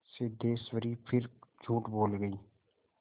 सिद्धेश्वरी फिर झूठ बोल गई